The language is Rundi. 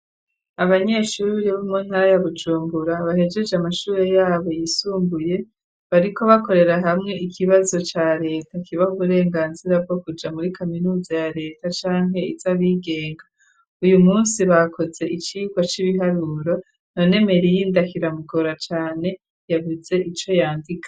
Abanyeshuri bo mu ntara ya BuJumbura bahejeje amashuri yabo yisumbuye bariko bakorera hamwe ikibazo ca reta kibaha uburenganzira bwo kuja muri kaminuza ya leta canke izabigenga, uyu munsi bakoze icirwa c'ibiharuro none Merinda kiramugora cane yavyutse arico yandika.